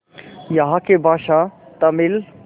यहाँ की भाषा तमिल